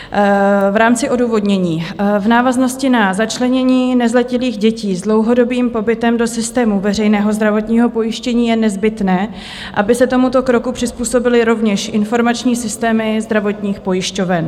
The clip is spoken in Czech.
V rámci odůvodnění, v návaznosti na začlenění nezletilých dětí s dlouhodobým pobytem do systému veřejného zdravotního pojištění je nezbytné, aby se tomuto kroku přizpůsobily rovněž informační systémy zdravotních pojišťoven.